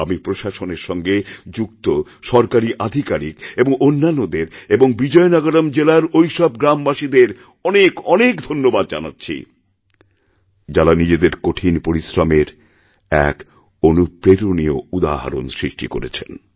আমি প্রশাসনের সঙ্গে যুক্ত সরকারী আধিকারিক এবং অন্যান্যদের এবং বিজয়নগরম জেলারঐসব গ্রামবাসীদের অনেক অনেক ধন্যবাদ জানাচ্ছি যাঁরা নিজেদের কঠিন পরিশ্রমের একঅনুপ্রেরণীয় উদাহরণ সৃষ্টি করেছেন